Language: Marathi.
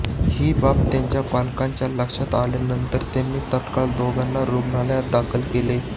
ही बाब त्यांच्या पालकांच्या लक्षात आल्यानंतर त्यांनी तात्काळ दोघांना रुग्णालयात दाखल केले